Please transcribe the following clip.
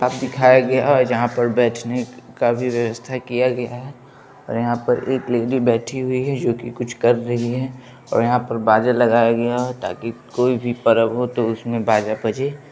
--आ दिखाय गया है जहा पर बेठने काफी वयवस्था किया गया है और यहा पर एक लेडी बेठी हुई है जो की कुछ ले ऋ है और यहा पर बाज लगाया गया है। ताकि कोई भी परब हो तो उसमे बाज पजे--